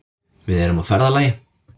Við erum á ferðalagi.